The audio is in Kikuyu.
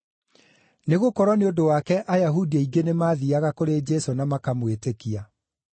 nĩgũkorwo nĩ ũndũ wake Ayahudi aingĩ nĩmathiiaga kũrĩ Jesũ na makamwĩtĩkia.